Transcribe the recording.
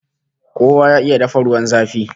Kowa ya iya dafa ruwan zafi!